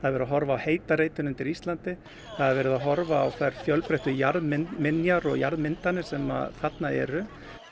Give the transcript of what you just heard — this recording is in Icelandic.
verið að horfa á heita reitinn undir Íslandi það er verið að horfa á þær fjölbreyttu jarðminjar og jarðmyndanir sem þarna eru